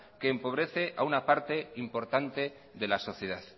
que empobrece a una parte importante de la sociedad